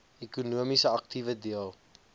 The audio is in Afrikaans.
ekonomiese aktiewe deel